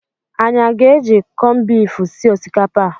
Anyị aga-eji kọnbifu sie osikapa a?